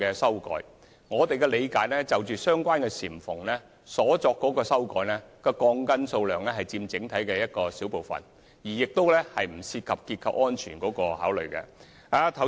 根據我們的理解，在相關簷篷修改鋼筋的數目只佔整體的小部分，亦不涉及樓宇結構安全。